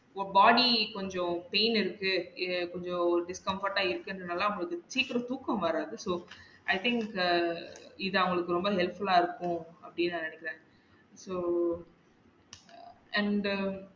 இப்ப body கொஞ்சம் pain இருக்கு எர் கொஞ்சம் discomfortable ஆ இருக்குறது நால அவங்களுக்கு சீக்கரம் தூக்கம் வராது so i think இத அவுளுக்கு ரொம்ப helpful ஆ இருக்கும் அப்படின்னு நினைக்கிறன் so and